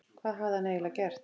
Hvað hafði hann eiginlega gert?